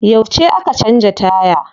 Yauce aka canza taya?